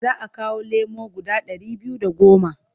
Za a kawo lemo guda ɗari biyu da goma.